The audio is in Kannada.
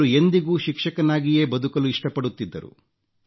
ಅವರು ಎಂದಿಗೂ ಶಿಕ್ಷಕನಾಗಿಯೇ ಬದುಕಲು ಇಷ್ಟಪಡುತ್ತಿದ್ದರು